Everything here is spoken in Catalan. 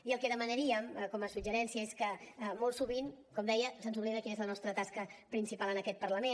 i el que demanaríem com a suggeriment és que molt sovint com deia se’ns oblida quina és la nostra tasca principal en aquest parlament